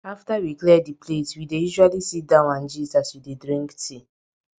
after we clear di plates we dey usually sit down and gist as wey dey drink tea